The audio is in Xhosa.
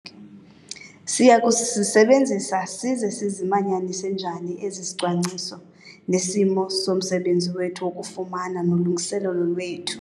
Siya kuzisebenzisa size sisimanyanise njani esi sicwangciso nesimo somsebenzi wethu wokufama nolungiselelo lwethu?